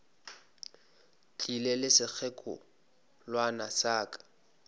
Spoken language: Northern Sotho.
tlile le sekgekolwana sa ka